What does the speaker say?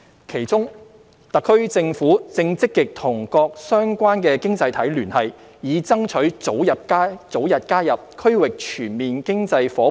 其中，特區政府正積極與各相關經濟體聯繫，以爭取早日加入 RCEP。